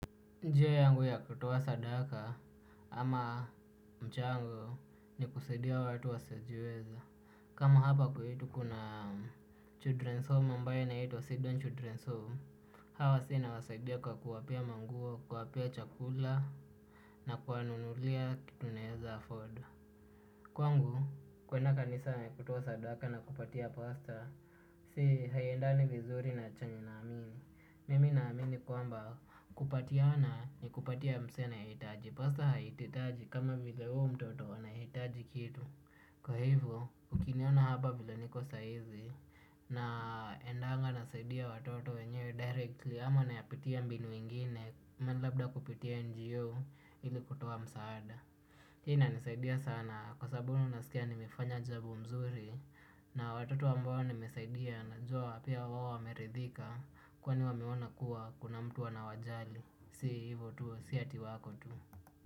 Njia yangu ya kutoa sadaka ama mchango ni kusadia watu wasiojiweza. Kama hapa kwetu kuna Children's Home ambayo inaitwa Sidon Children's Home. Hawa wasee nawasaidia kwa kuwapea manguo, kuwapea chakula na kuwanunulia kitu naeza afford. Kwangu, kuenda kanisa na kutoa sadaka na kupatia pastor. Zi, haiendani vizuri na chenye naamini. Mimi naamini kwamba kupatiana ni kupatia msee anayehitaji. Pastor haihitaji kama vile huo mtoto anahitaji kitu. Kwa hivo, ukiniona hapa vile niko saa hizi. Naendanga nasaidia watoto wenyewe directly ama nayapitia mbinu ingine. Kama labda kupitia NGO ili kutoa msaada. Hii inanisaidia sana kwa sababu nasikia nimefanya jambo mzuri, na watoto ambao nimesaidia najua pia wao wameridhika, kwani wameona kuwa kuna mtu anawajali. Si hivo tu si ati wako tu.